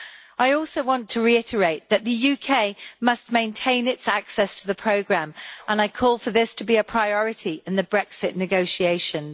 I also want to reiterate that the UK must maintain its access to the programme, and I call for this to be a priority in the Brexit negotiations.